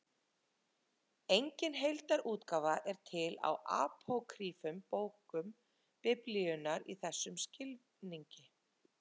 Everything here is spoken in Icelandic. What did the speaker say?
Engin heildarútgáfa er til á apókrýfum bókum Biblíunnar í þessum skilningi.